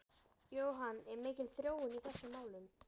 Jóhann, er mikil þróun í þessum málum?